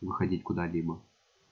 выходить куда либо